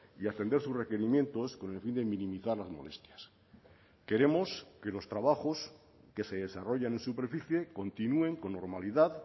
y atender sus requerimientos con el fin de minimizar las molestias queremos que los trabajos que se desarrollan en superficie continúen con normalidad